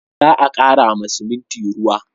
Za a kara ma siminti ruwa